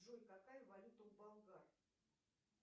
джой какая валюта у болгар